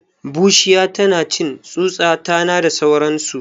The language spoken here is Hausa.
Bushiya tanacin tsutsa, tana da sauransu